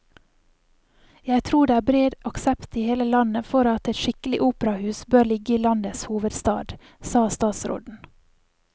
Jeg tror det er bred aksept i hele landet for at et skikkelig operahus bør ligge i landets hovedstad, sa statsråden.